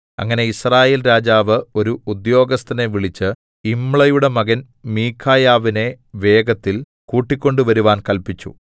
അങ്ങനെ യിസ്രായേൽ രാജാവ് ഒരു ഉദ്യോഗസ്ഥനെ വിളിച്ച് യിമ്ളയുടെ മകൻ മീഖായാവിനെ വേഗത്തിൽ കൂട്ടിക്കൊണ്ടുവരുവാൻ കല്പിച്ചു